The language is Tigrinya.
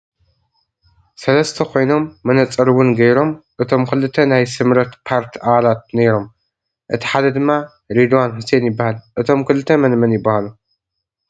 ሰለስተ ኮይኖም መነፀር እውን ገይሮ እቶም ክልተ ናይ ስምረት ፓርት ኣባላት ኖይኖም እቲ ሓደ ድማ ሬድዋን ሁሴን ይባሃል ። እቶም ክልተ መንመን ይባሃሉ?